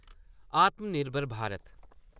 आत्म निर्भर भारत